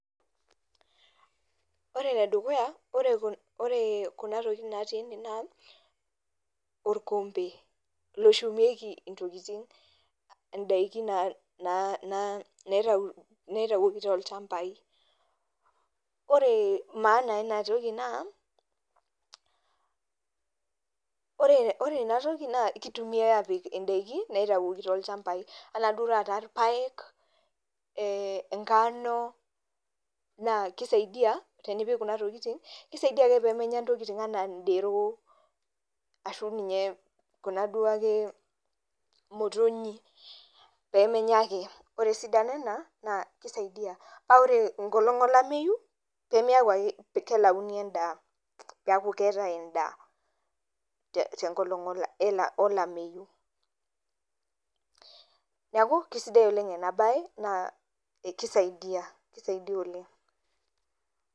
Ore enedukuya, ore kuna tokiting natii ene naa, orkompe loshumieki intokiting. Idaiki naitawuoki tolchambai. Ore maana enatoki naa, ore enatoki naa kitumiai apik idaiki naitawuoki tolchambai. Enaduo taata irpaek, inkano, naa kisaidia tenipik kuna tokiting, kisaidia ake pemenya intokiting enaa dero, ashu ninye kuna duo ake motonyi, pemenya ake. Ore esidano ena, naa kisaidia. Na ore enkolong olameyu, pemeeku ake kelauni endaa. Peeku keetae endaa, tenkolong olameyu. Neeku, kesidai oleng enabae, naa kisaidia, kisaidia oleng.